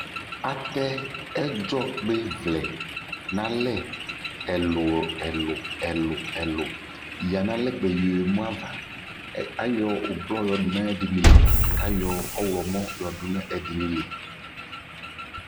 Atɛ ɛdzɔkpɩvlɛ nʋ alɛ ɛlʋ-ɛlʋ ɛlʋ-ɛlʋ yǝ nʋ alɛ kpaa yɔɣa emu ava Ayɔ ʋblɔ yɔdʋ nʋ ɛdɩnɩ li kʋ ayɔ ɔɣlɔmɔ yɔdʋ nʋ ɛdɩnɩ li